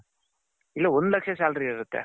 ಇಲ್ಲ ಒಂದು ಲಕ್ಷ salary ಇರುತ್ತೆ.